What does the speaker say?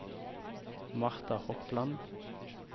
Marta Hopland